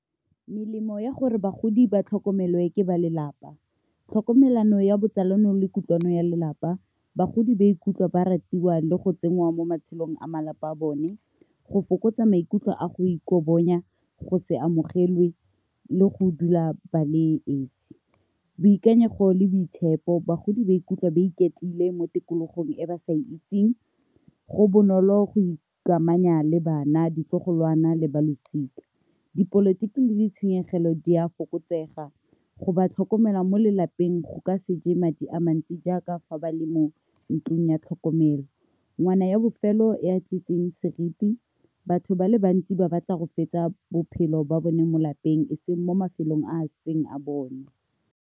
Melemo ya gore bagodi ba tlhokomelwa ke ba lelapa. Tlhokomelano ya botsalano le kutlwano ya lelapa, bagodi ba ikutlwe ba ratiwa le go tsenngwa mo matshelong a malapa a bone go fokotsa maikutlo a go ikobonya, go se amogelwe, le go dula bale esi. Boikanyego le boitshepo, bagodi ba ikutlwa ba iketlile mo tikologong e ba sa e itseng, go bonolo go ikamanya le bana, ditlogoloana, le balosika. Dipolotiki le ditshenyegelo di a fokotsega, go ba tlhokomela mo lelapeng go ka se je madi a mantsi jaaka fa ba le mo ntlong ya tlhokomelo ngwana ya bofelo e a tlisitseng seriti batho ba le bantsi ba batla go fetsa bophelo ba bone mo lapeng eseng mo mafelong a seng a bone.